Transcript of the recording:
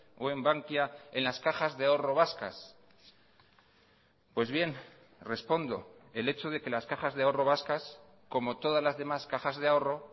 o en bankia en las cajas de ahorro vascas pues bien respondo el hecho de que las cajas de ahorro vascas como todas las demás cajas de ahorro